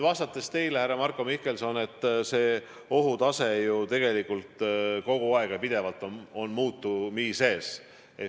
Vastates teile, härra Marko Mihkelson, ma märgin, et ohutase muutub ju tegelikult kogu aeg.